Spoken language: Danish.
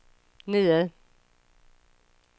nedad